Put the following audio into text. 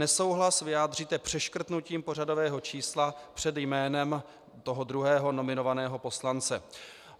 Nesouhlas vyjádříte přeškrtnutím pořadového čísla před jménem toho druhého nominovaného poslance.